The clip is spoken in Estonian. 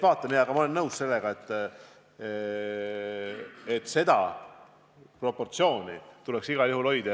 Aga ma olen nõus, et seda proportsiooni tuleks igal juhul hoida.